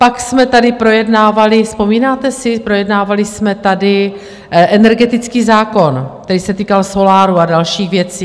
Pak jsme tady projednávali - vzpomínáte si? - projednávali jsme tady energetický zákon, který se týkal solárů a dalších věcí.